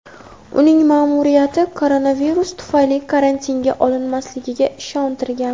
uning ma’muriyati koronavirus tufayli karantinga olinmasligiga ishontirgan.